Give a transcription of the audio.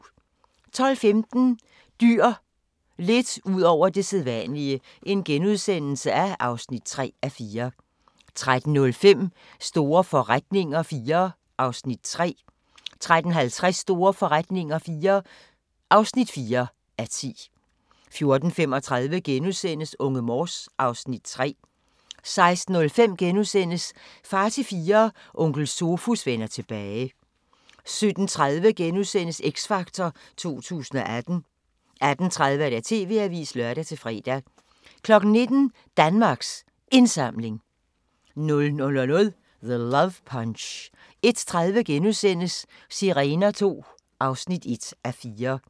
12:15: Dyr – lidt ud over det sædvanlige (3:4)* 13:05: Store forretninger IV (3:10) 13:50: Store forretninger IV (4:10) 14:35: Unge Morse (Afs. 3)* 16:05: Far til Fire – Onkel Sofus vender tilbage * 17:30: X Factor 2018 * 18:30: TV-avisen (lør-fre) 19:00: Danmarks Indsamling 00:00: The Love Punch 01:30: Sirener II (1:4)*